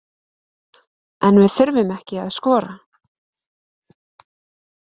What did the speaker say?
En við þurftum ekki að skora